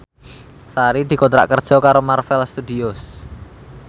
Sari dikontrak kerja karo Marvel Studios